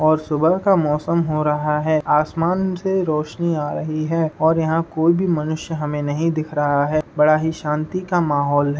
और सुबह का मौसम हो रहा है। आसमान से रोशनी आ रही है और यहाँ हमें कोई भी मनुष्य नही दिखा रहा है। बड़ा ही शांति का माहौल है।